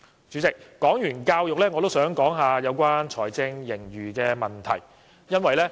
主席，說罷教育，我也想談談有關財政盈餘的問題。